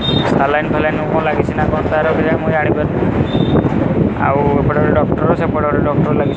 saline ଫାଲାଇନ କଣ ଲାଗିଚି ନା କଣ ତାର ମୁଁ ଜାଣିପାରୁନି ଆଉ ଏପଟେ ଗୋଟେ ଡ଼କ୍ଟର ଆଉ ସେପଟେ ଗୋଟେ ଡ଼କ୍ଟର ଲାଗି --